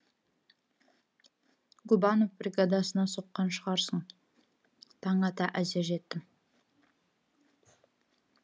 губанов бригадасына соққан шығарсың таң ата әзер жеттім